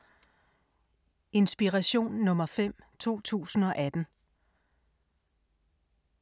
Inspiration nr. 5, 2018